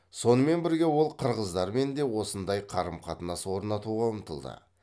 сонымен бірге ол қырғыздармен де осындай қарым қатынас орнатуға ұмтылды